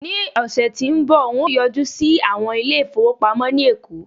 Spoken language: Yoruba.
ni ọsẹ ti nbọ n o yọjú sí àwọn ilé ifowopamọ ni eko